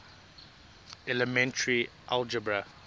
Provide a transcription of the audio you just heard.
elementary algebra